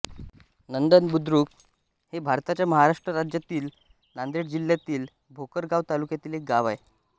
नंदबुद्रुक हे भारताच्या महाराष्ट्र राज्यातील नांदेड जिल्ह्यातील भोकर गाव तालुक्यातील एक गाव आहे